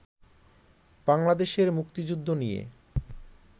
বাংলাদেশের মুক্তিযুদ্ধ নিয়ে